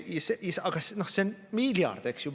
Aga see on miljard, eks ju!